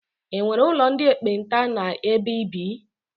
E nwere ụlọ ndị ekpenta n'ebe i bi?